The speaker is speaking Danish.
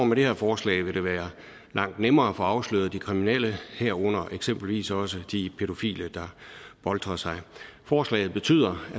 med det her forslag vil være langt nemmere at få afsløret de kriminelle herunder eksempelvis også de pædofile der boltrer sig der forslaget betyder at